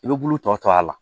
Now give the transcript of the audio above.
I bɛ bulu tɔ to a la